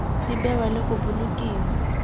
di bewa le go bolokiwa